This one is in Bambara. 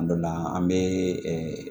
A dɔ la an bɛ